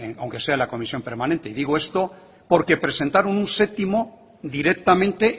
aunque sea en la comisión permanente y digo esto porque presentaron un séptimo directamente